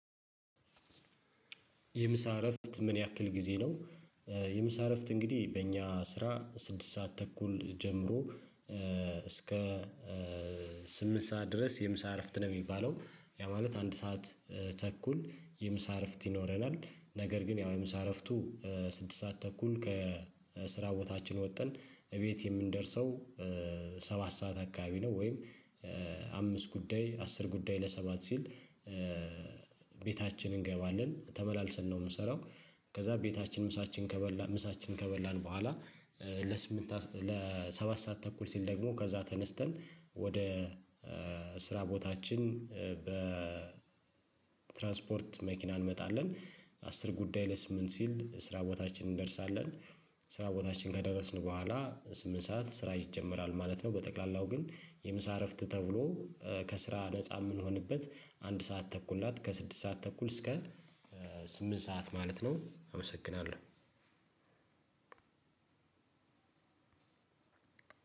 የምሳ እረፍት ምን ያክል ጊዜ ነው? የምሳ እረፍት እንግዲህ በእኛ ስራ ስድስት ሰዓት ተኩል ጀምሮ እስከ ስምንት ሰዓት ድረስ የምሳ እረፍት ነው የሚባለው ያ ማለት አንድ ሰዓት ተኩል የምሳ አረፍት ይኖረናል። ነገር ግን ያው የምሳ አረፍቱ ስድስት ሰዓት ተኩል ከስራ ቦታችን ወጥተን እቤት የምንደርሰው ሰባት ሰዓት አካባቢ ነው። ወይም አምስት ጉዳይ አስር ጉዳይ ለሰባት ሲል ቤታችን እንገባለን ተመላልሰን ነው የምንሰራው። ከዛ ቤታችን ምሳችንን ከበላን ምሳችንን ከበላን በኋላ ለስምንት ሰዓት ለሰባት ሰዓት ተኩል ሲል ደግሞ ከዛ ተነስተን ወደ ስራ ቦታችን በትራንስፖርት መኪና እንወጣለን። አስር ጉዳይ ለስምንት ሲል ስራ ቦታችን እንደርሳለን። ስራ ቦታችን ከደረስን በኋላ ስምንት ሰዓት ስራ ይጀመራል ማለት ነው። በጠቅላላው ግን የምሳ እረፍት ተብሎ ከስራ ነፃ የምንሆንበት አንድ ሰዓት ተኩል ናት። ከስድስት ሰዓት ተኩል እስከ ስምንት ሰዓት ማለት ነው። አመሰግናለሁ።